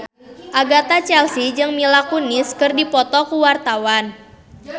Agatha Chelsea jeung Mila Kunis keur dipoto ku wartawan